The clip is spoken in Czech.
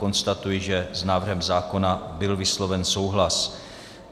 Konstatuji, že s návrhem zákona byl vysloven souhlas.